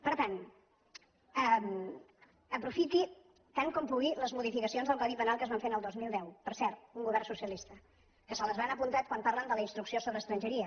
per tant aprofiti tant com pugui les modificacions del codi penal que es van fer al dos mil deu per cert un govern socialista que se les han apuntat quan parlen de la instrucció sobre estrangeria